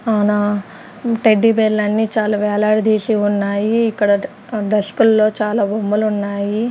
ఆ నా టెడ్డీ బేర్లన్నీ చాలా వేలాడదీసి ఉన్నాయి ఇక్కడ డస్ డస్కుల్లో చాలా బొమ్మలు ఉన్నాయి.